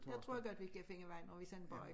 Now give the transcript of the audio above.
Jeg tror godt vi kan finde vej når vi sådan bare er